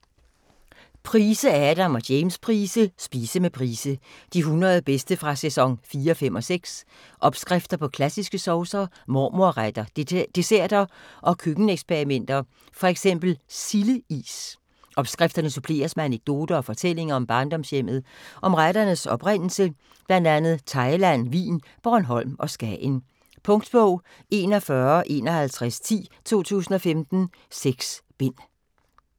Price, Adam og James Price: Spise med Price: de 100 bedste fra sæson 4, 5 og 6 Opskrifter på klassiske saucer, mormor-retter, desserter og køkken-eksperimenter: fx silde-is. Opskrifterne suppleres med anekdoter og fortællinger om barndomshjemmet, om retternes oprindelse bl.a. Thailand, Wien, Bornholm og Skagen. Punktbog 415110 2015. 6 bind.